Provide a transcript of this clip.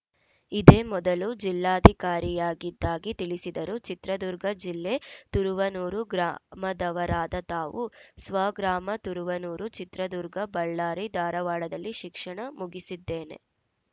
ಇದೇ ಮೊದಲು ಜಿಲ್ಲಾಧಿಕಾರಿಯಾಗಿದ್ದಾಗಿ ತಿಳಿಸಿದರು ಚಿತ್ರದುರ್ಗ ಜಿಲ್ಲೆ ತುರುವನೂರು ಗ್ರಾಮದವರಾದ ತಾವು ಸ್ವಗ್ರಾಮ ತುರುವನೂರು ಚಿತ್ರದುರ್ಗ ಬಳ್ಳಾರಿ ಧಾರವಾಡದಲ್ಲಿ ಶಿಕ್ಷಣ ಮುಗಿಸಿದ್ದೇನೆ